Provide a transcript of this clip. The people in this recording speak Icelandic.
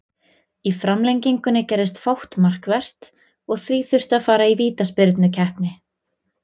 Í framlengingunni gerðist fátt markvert og því þurfti að fara í vítaspyrnukeppni.